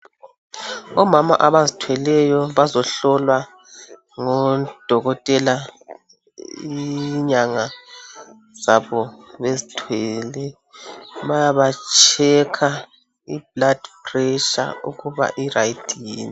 Omama abazithweleyo bazohlolwa ngodokotela inyanga zabo bezithwele. Bayabatshekha i"blood pressure " ukuba i"right" yini.